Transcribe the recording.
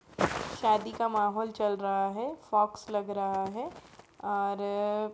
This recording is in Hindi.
शादी का माहौल चल रहा है। फॉक्स लग रहा है और --